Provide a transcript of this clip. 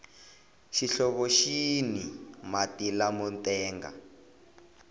xihlovo xini mati lamo tenga